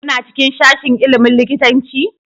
Kuna cikin sashin ilimin likitanci?